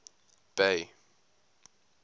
bay